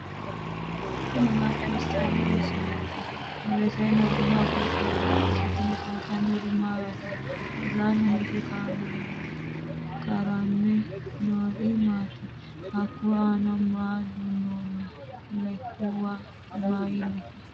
tini maa xawissanno misileeti ? mulese noori maati ? hiissinannite ise ? tini kultannori mattiya? Uullanni hige karamme noori maatti? Hakku aanna maa duunoonni? Lekuwa mayiinnite?